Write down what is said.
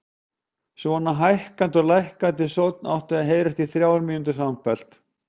Svona hækkandi og lækkandi sónn átti að heyrast í þrjár mínútur samfleytt.